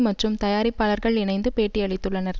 மற்றும் தயாரிப்பாளர்கள் இணைந்து பேட்டி அளித்துள்ளனர்